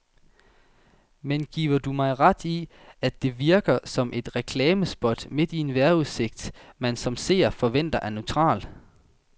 Men giver du mig ret i, at det virkede som et reklamespot midt i en vejrudsigt, man som seer forventer er neutral.